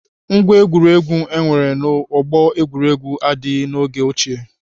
Ngwá egwuregwu enwere na ọgbọ egwuregwu adịghị n'oge ochie.